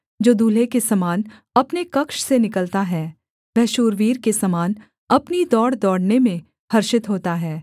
जो दुल्हे के समान अपने कक्ष से निकलता है वह शूरवीर के समान अपनी दौड़ दौड़ने में हर्षित होता है